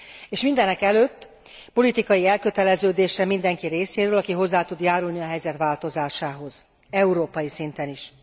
És mindenekelőtt politikai elköteleződésre mindenki részéről, aki hozzá tud járulni a helyzet változásához európai szinten is.